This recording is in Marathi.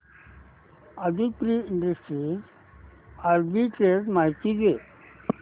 आदित्रि इंडस्ट्रीज आर्बिट्रेज माहिती दे